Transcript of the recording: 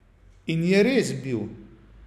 In je res bil.